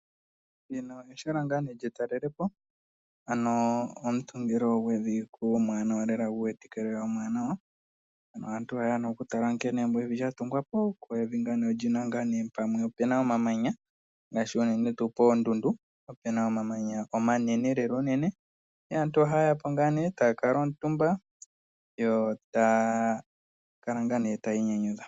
Ehala lyetalele po ano omutungilo gwevi guli omwaanawa lela , mpono aantu hayeya okutala nkene evi lyatungwa po ,pamwe opena omamanya ngaashi unene koondundu. Kuna omamanya omanene aantu ohayeya po, eta kuutumba yo taya kala ihe taya inyanyudha.